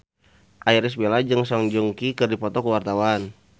Irish Bella jeung Song Joong Ki keur dipoto ku wartawan